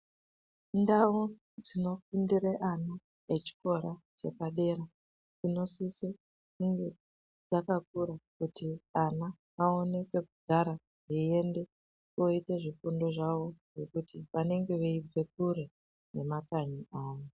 Ndau dzinofundira ana echikora chepadera kunosisa kunge kwakakura kuti vana vaone pekugara veienda koita zvifundo zvawo nekuti vanenge veibva kure nemakanyi awo.